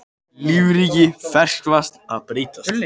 Lífríki ferskvatns að breytast